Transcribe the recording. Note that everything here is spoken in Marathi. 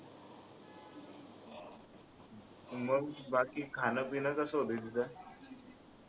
मग स्वादिष्ट खान पिन कसं होतं तिथं